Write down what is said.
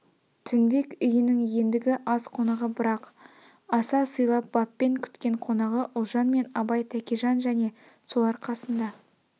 тінбек үйнің ендгі аз қонағы бірақ аса сыйлап баппен күткен қонағы ұлжан мен абай тәкежан және солар қасында